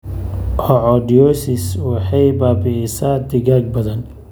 Coccidiosis waxay baabi'isaa digaag badan.